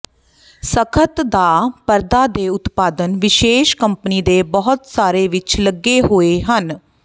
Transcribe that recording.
ਸਖ਼ਤ ਦਾ ਪਰਦਾ ਦੇ ਉਤਪਾਦਨ ਵਿਸ਼ੇਸ਼ ਕੰਪਨੀ ਦੇ ਬਹੁਤ ਸਾਰੇ ਵਿੱਚ ਲੱਗੇ ਹੋਏ ਹਨ